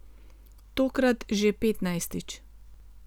Tokrat že petnajstič.